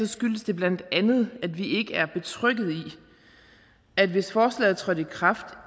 skyldes det bla at vi ikke er betrygget i at vi hvis forslaget trådte i kraft